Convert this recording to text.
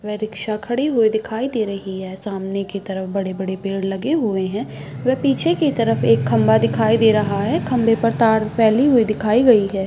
वे rickshaw खड़ी हुई दिखाई दे रही है। सामने के तरफ बड़े- बड़े पेड़ लगे हुवे है। वे पीछे के तरफ एक खंभा दिखाई दे रहा है। खंभे पर तार फैली हुवी दिखाई गई है।